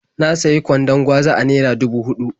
Na sayi kwandon gwaza a naira dubu huɗu.